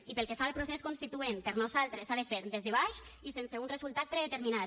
i pel que fa al procés constituent per nosaltres s’ha de fer des de baix i sense un resultat predeterminat